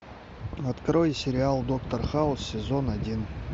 открой сериал доктор хаус сезон один